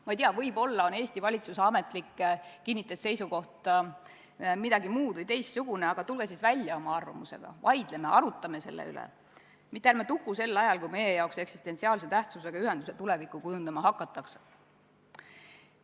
Ma ei tea, võib-olla on Eesti valitsuse ametlik kinnitatud seisukoht midagi muud või teistsugune, aga tulge siis välja oma arvamusega, vaidleme, arutame selle üle, mitte ärme tukume sel ajal, kui meile eksistentsiaalse tähtsusega ühenduse tulevikku kujundama hakatakse.